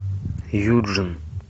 юджин